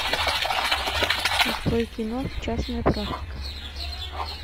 открой кино частная практика